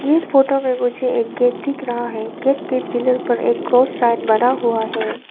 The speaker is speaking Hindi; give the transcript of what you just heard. ये फोटो में मुझे एक गेट दिख रहा है गेट के पिलर पर एक क्रॉस साइन बना हुआ है।